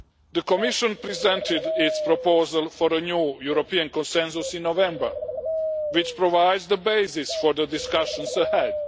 The Commission presented its proposal for a new European Consensus in November, which provides the basis for the discussions ahead.